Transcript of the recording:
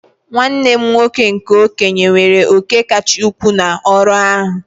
Nwanne m nwoke nke okenye weere òkè kacha ukwuu n'ọrụ ahụ